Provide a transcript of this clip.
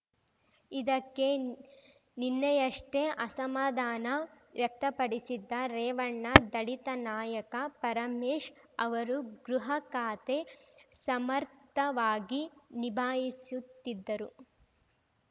ಇದಕ್ಕೆ ನಿನ್ನೆಯಷ್ಟೇ ಅಸಮಾಧಾನ ವ್ಯಕ್ತಪಡಿಸಿದ್ದ ರೇವಣ್ಣ ದಲಿತ ನಾಯಕ ಪರಮೇಶ್ ಅವರು ಗೃಹ ಖಾತೆ ಸಮರ್ಥವಾಗಿ ನಿಭಾಯಿಸುತ್ತಿದ್ದರು